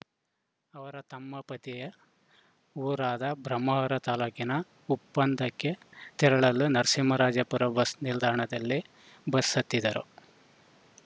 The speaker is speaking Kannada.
ಅವರ ತಮ್ಮ ಪತಿಯ ಊರಾದ ಬ್ರಹ್ಮಾವರ ತಾಲೂಕಿನ ಉಪ್ಪಂದಕ್ಕೆ ತೆರಳಲು ನರಸಿಂಹರಾಜಪುರ ಬಸ್‌ ನಿಲ್ದಾಣದಲ್ಲಿ ಬಸ್‌ ಹತ್ತಿದ್ದರು